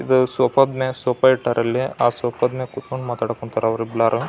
ಇದು ಸೋಫಾ ದ ಮ್ಯಾಲೆ ಸೋಫಾ ಇಟ್ಟಾರೆ. ಅಲ್ಲಿ ಆ ಸೋಫಾ ದ ಮ್ಯಾಲೆ ಕೂತಕೊಂಡು ಮಾತಾಡಕ್ ಕುಂತಾರೆ ಅವರೆಲ್ಲರೂ.